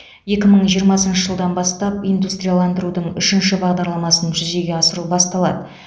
екі мың жиырмасыншы жылдан бастап индустрияландырудың үшінші бағдарламасын жүзеге асыру басталады